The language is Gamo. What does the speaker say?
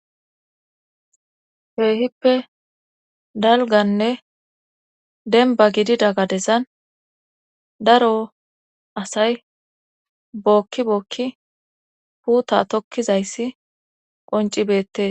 heehippe dalganne denba gidida gadezan daro asay bookki bookki puuta tokkizayssi qoncibettee